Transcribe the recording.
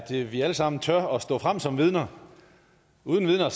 vi alle sammen tør stå frem som vidner uden vidner